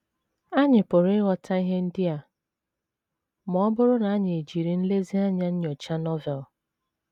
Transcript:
Anyị pụrụ ịghọta ihe ndị a ma ọ bụrụ na anyị ejiri nlezianya nyochaa Novel.